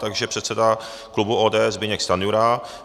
Takže předseda klubu ODS Zbyněk Stanjura.